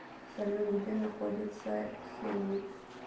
салют где находится хемниц